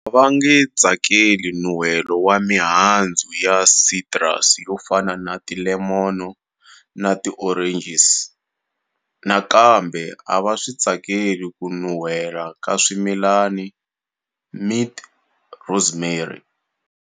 A va nge tsakeli nun'hwelo wa mihandzu ya citrus yo fana na ti lemon na ti oranges. Nakambe a va swi tsakeli ku nun'hwela ka swimilana, mint, rosemary